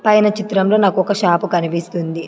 పైన చిత్రంలో నాకు ఒక షాపు కనిపిస్తుంది.